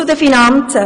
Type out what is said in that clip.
Zu den Finanzen.